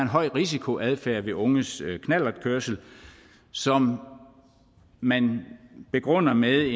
høj risikoadfærd ved unges knallertkørsel som man begrunder med